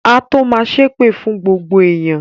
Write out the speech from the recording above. Á tó ma ṣépè fún gbogbo èèyàn